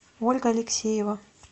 ольга алексеева